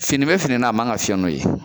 Fini bɛ fini na a man kan ka fiɲɛ n'o ye